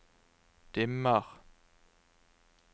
dimmer